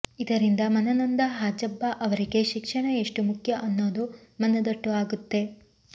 ಇದರಿಂದ ಮನನೊಂದ ಹಾಜಬ್ಬ ಅವರಿಗೆ ಶಿಕ್ಷಣ ಎಷ್ಟು ಮುಖ್ಯ ಅನ್ನೋದು ಮನದಟ್ಟು ಆಗುತ್ತೆ